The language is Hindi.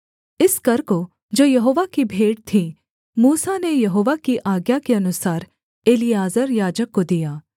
इस कर को जो यहोवा की भेंट थी मूसा ने यहोवा की आज्ञा के अनुसार एलीआजर याजक को दिया